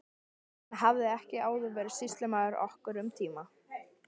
Hann hafði áður verið sýslumaður okkar um tíma.